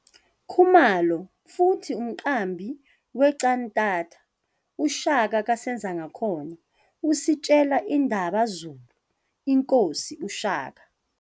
Khumalo futhi umqambi we cantata "UShaka KaSenzangakhona," ositshela indaba Zulu inkosi, uShaka.